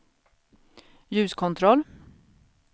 ljuskontroll